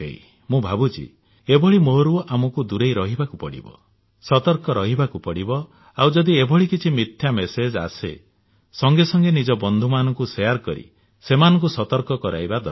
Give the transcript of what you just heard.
ମୁଁ ଭାବୁଛି ଏଭଳି ମୋହରୁ ଆମକୁ ଦୂରେଇ ରହିବାକୁ ପଡିବ ସତର୍କ ରହିବାକୁ ପଡିବ ଆଉ ଯଦି ଏଭଳି କିଛି ମିଥ୍ୟା ମେସେଜ ଆସେ ସଙ୍ଗେ ସଙ୍ଗେ ନିଜ ବନ୍ଧୁମାନଙ୍କୁ ସେୟାର କରି ସେମାନଙ୍କୁ ସତର୍କ କରାଇବା ଦରକାର